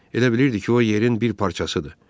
elə bilirdi ki, o yerin bir parçasıdır.